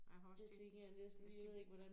Jeg har også tænkt hvis de